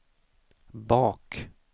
bak